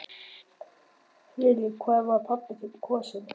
Lillý: Hvað var pabbi þinn kosinn?